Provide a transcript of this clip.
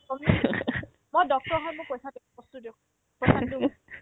কম নে কি মই Dr হয় মোক পইচা দিয়ক, বস্তু দিয়ক পইচা নিদিও মই